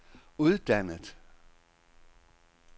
uddannet